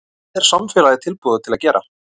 Hvað er samfélagið tilbúið til að gera?